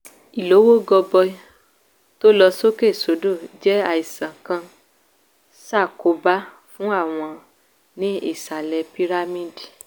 ìlówó gọbọi tó lọ sókè sódò jẹ́ àìsàn kan ṣàkóbá fún àwọn ní ìsàlẹ̀ pírámíìdì